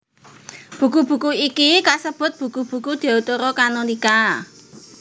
Buku buku iki kasebut buku buku Deuterokanonika